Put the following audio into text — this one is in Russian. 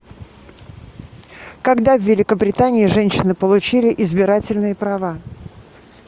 когда в великобритании женщины получили избирательные права